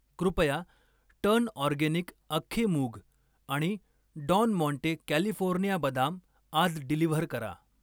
कृपया turn organic अख्खे मूग आणि डॉन माँटे कॅलिफोर्निया बदाम आज डिलिव्हर करा.